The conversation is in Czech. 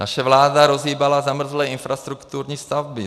Naše vláda rozhýbala zamrzlé infrastrukturní stavby.